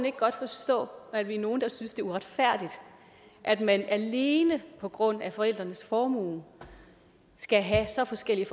ikke godt forstå at vi er nogle der synes det er uretfærdigt at man alene på grund af forældrenes formue skal have så forskellige